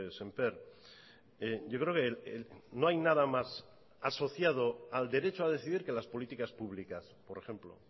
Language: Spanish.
sémper yo creo que no hay nada más asociado al derecho a decidir que las políticas públicas por ejemplo